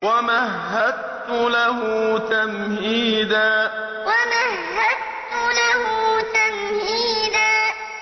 وَمَهَّدتُّ لَهُ تَمْهِيدًا وَمَهَّدتُّ لَهُ تَمْهِيدًا